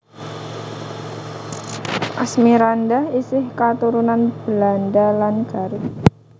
Asmirandah isih katurunan Belanda lan Garut